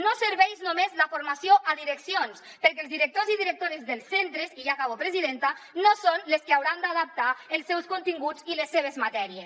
no serveix només la formació a direccions perquè els directors i directores dels centres i ja acabo presidenta no són els que hauran d’adaptar els seus continguts i les seves matèries